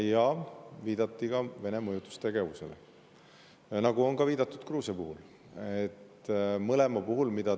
Ja viidati ka Vene mõjutustegevusele, nagu on ka viidatud Gruusia puhul.